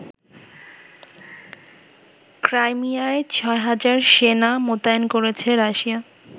ক্রাইমিয়ায় ৬ হাজার সেনা মোতায়েন করেছে রাশিয়া।